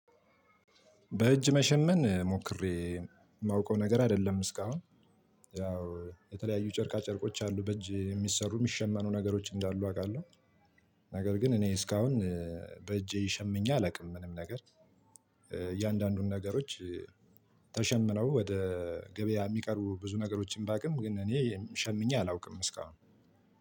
በእጅ መሸመን ሞክሬ ማውቀው ነገር አይደለም። እስካሁን ያው የተለያዩ ጨርቃ ጨርቆች አሉ በእጅ ሚሰሩ ሚሸመኑ ነገሮች እንዳሉ አቃለሁ። ነገር ግን እኔ እስካሁን ይሸምኜ አላውቅም። ምንም ነገር። እያንዳንዱን ነገሮች ተሸምነው ወደ ገበያ ሚቀሩ ብዙ ነገሮችን ባውቅም ግን እኔ ሸምኜ አላውቅም እስካሁን።